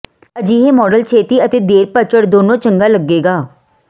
ਅਜਿਹੇ ਮਾਡਲ ਛੇਤੀ ਅਤੇ ਦੇਰ ਪਤਝੜ ਦੋਨੋ ਚੰਗਾ ਲੱਗੇਗਾ